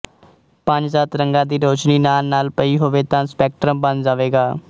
ਪੰਜਸੱਤ ਰੰਗਾਂ ਦੀ ਰੋਸ਼ਨੀ ਨਾਲਨਾਲ ਪਈ ਹੋਵੇ ਤਾਂ ਸਪੈਕਟ੍ਰਮ ਬਣ ਜਾਵੇਗਾ